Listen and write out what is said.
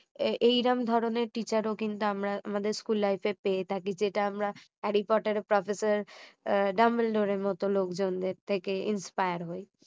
এই রকম ধরণের teacher ও কিন্তু আমরা আমাদের school life এ পেয়ে থাকি যেটা আমরা হ্যারি পটারের professor ডাম্বেলডোরের মতো লোকজনদের থেকে inspire হয়